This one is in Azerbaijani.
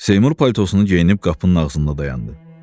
Seymur paltosunu geyinib qapının ağzında dayandı.